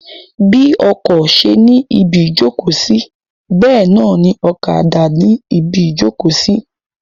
Bí ọkọ ṣe ni ibi ìjókòó sí bẹ́ẹ̀ náà ni ọ̀kadà ni ibi ìjókòó sí.